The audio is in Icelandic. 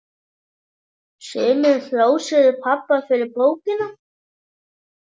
Sumir hrósuðu pabba fyrir bókina.